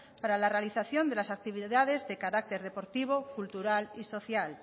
para la realización de las actividades de carácter deportivo cultural y social